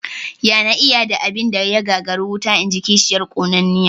"Ya na iya da abin da ya gagari wuta?", inji kishiyar ƙonanniya